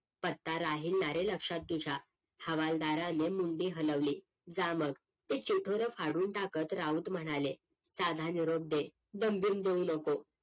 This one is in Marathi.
पत्ता राहीलनारे लक्षात तुझ्या हवालदाराने मुंडी हलवली जा मग ते चिठोर फाडून टाकत राऊत म्हणाले साधा निरोप दे दमबीम देऊ नको